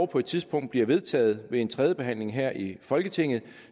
på et tidspunkt bliver vedtaget ved tredje behandling her i folketinget